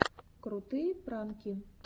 крутые пранки